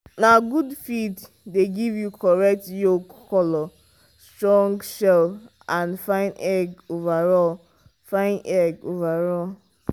na good feed dey give you correct yolk colour strong shell and fine egg overall. fine egg overall.